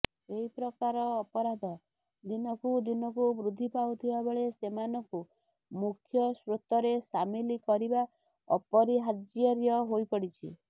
ଏହି ପ୍ରକାର ଅପରାଧ ଦିନକୁ ଦିନକୁ ବୃଦ୍ଧି ପାଉଥିବାବେଳେ ସେମାନଙ୍କୁ ମୁଖ୍ୟସୋତ୍ରରେ ସାମିଲ କରିବା ଅପରିହାର୍ଯର୍୍ୟ ହୋଇପଡିଛି